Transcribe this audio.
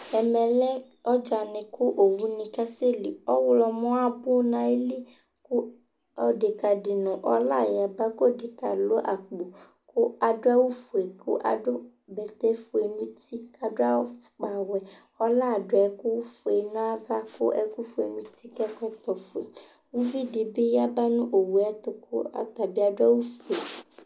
Ɛmɛ lɛ ɔdzani ku owuni ka sɛli, ɔwlɔmɔ abu n'ayili ku odeka di nu ɔla ya bà, k'ɔdekaɛ alũ akpo, ku adu awù fue, k'adu bɛtɛ fue n'uti, k'adu afukpawɛ, ɔla adu ɛku fue n'ava, k'ɛku fue n'uti, k'ɛkɔtɔ fue, k'uvi di bi ya ba nu owue ɛtu ku ɔtabi adu awùfue